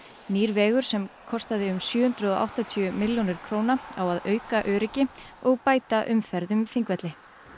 nýr vegur sem kostaði um sjö hundruð og áttatíu milljónir króna á að auka öryggi og bæta umferð um Þingvelli